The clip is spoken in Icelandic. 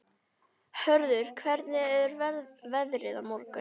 Hörður, hvernig er veðrið á morgun?